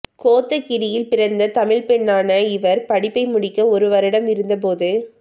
கோத்தகிரியில் பிறந்த தமிழ் பெண்ணான இவர் படிப்பை முடிக்க ஒரு வருடம் இருந்தபோது